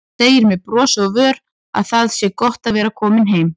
Segir með brosi á vör að það sé gott að vera komin heim.